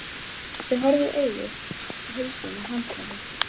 Þau horfðust í augu og heilsuðust með handabandi.